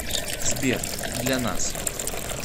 сбер для нас